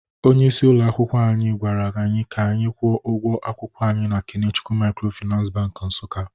Onye isi ụlọ akwụkwọ anyị gwara anyị ka anyị kwụọ ụgwọ akwụkwọ anyị na Kenechukwu Microfinance bank Nsukka